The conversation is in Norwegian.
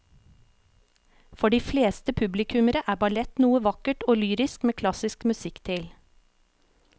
For de fleste publikummere er ballett noe vakkert og lyrisk med klassisk musikk til.